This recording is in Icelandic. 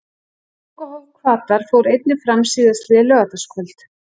Lokahóf Hvatar fór einnig fram síðastliðið laugardagskvöld.